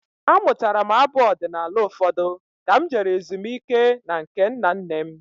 Amụtara m abụ ọdinala ụfọdụ ka m jere ezumike na nke nna nne m.